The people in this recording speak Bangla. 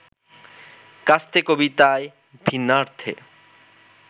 ‘কাস্তে’ কবিতায় ভিন্নার্থে